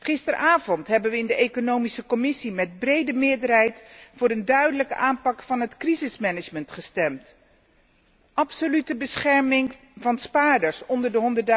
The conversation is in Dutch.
Gisteravond hebben wij in de Commissie ECON met brede meerderheid voor een duidelijke aanpak van het crisismanagement gestemd absolute bescherming van spaarders onder